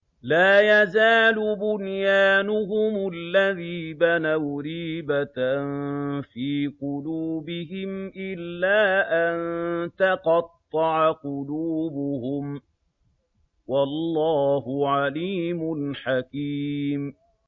لَا يَزَالُ بُنْيَانُهُمُ الَّذِي بَنَوْا رِيبَةً فِي قُلُوبِهِمْ إِلَّا أَن تَقَطَّعَ قُلُوبُهُمْ ۗ وَاللَّهُ عَلِيمٌ حَكِيمٌ